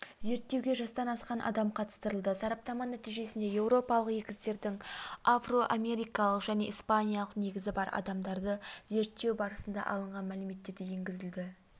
зерттеуге жастан асқан адам қатыстырылды сараптама нәтижесіне еуропалық егіздердің афроамерикалық және испаниялық негізі бар адамдарды зерттеу барысында алынған мәліметтер де енгізілді